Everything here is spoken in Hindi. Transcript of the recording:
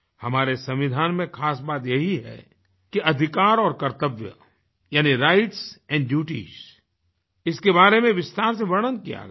हमारे संविधान में खास बात यही है कि अधिकार और कर्तव्य यानी राइट्स एंड Dutiesइसके बारे में विस्तार से वर्णन किया गया है